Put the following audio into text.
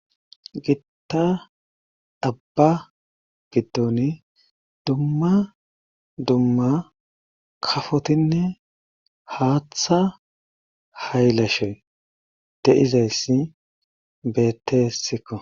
Gitta abba biddon dumma dumma kafotinne haaththa haylashe de'izayssi beettessikko.